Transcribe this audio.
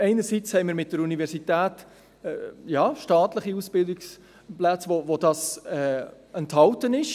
Einerseits haben wir mit der Universität staatliche Ausbildungsplätze, wo dies enthalten ist.